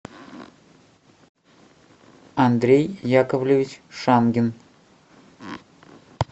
андрей яковлевич шангин